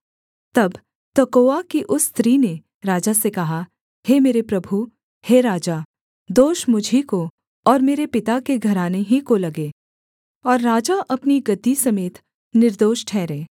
तब तकोआ की उस स्त्री ने राजा से कहा हे मेरे प्रभु हे राजा दोष मुझी को और मेरे पिता के घराने ही को लगे और राजा अपनी गद्दी समेत निर्दोष ठहरे